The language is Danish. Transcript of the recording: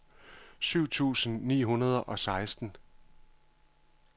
syv tusind ni hundrede og seksten